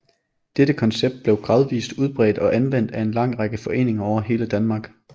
Dette koncept blev gradvist udbredt og anvendt af en lang række foreninger over hele Danmark